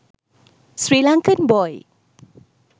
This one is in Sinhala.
srilankan boy